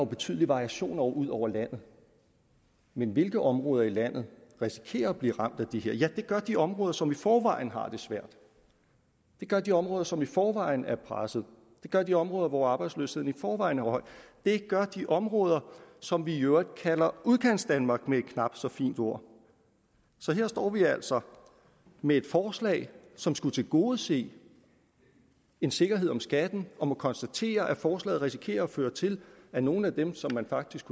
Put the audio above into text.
betydelige variationer ud over landet men hvilke områder i landet risikerer at blive ramt af det her ja det gør de områder som i forvejen har det svært det gør de områder som i forvejen er presset det gør de områder hvor arbejdsløsheden i forvejen er høj det gør de områder som vi i øvrigt kalder udkantsdanmark med et knap så fint ord så her står vi altså med et forslag som skulle tilgodese en sikkerhed om skatten og må konstatere at forslaget risikerer at føre til at nogle af dem som man faktisk